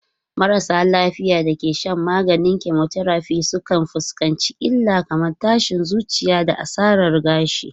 Marasa lafiya da ke shan maganin chemotherapy sukan fuskanci illa kamar tashin zuciya da asarar gashi.